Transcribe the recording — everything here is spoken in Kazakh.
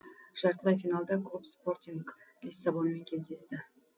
жартылай финалда клуб спортинг лиссабонмен кездесті